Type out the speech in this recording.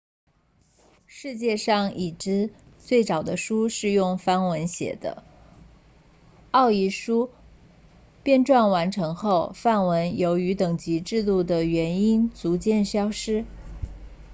世界上已知最早的书是用梵文写的奥义书编撰完成后梵文由于等级制度的原因逐渐消失